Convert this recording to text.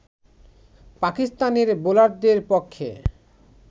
পাকিস্তানের বোলারদের পক্ষে